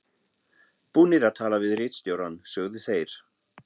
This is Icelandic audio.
Búnir að tala við ritstjórann, sögðu þeir.